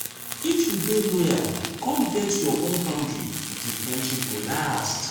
if you dey loyal come get your own boundary di friendship go last.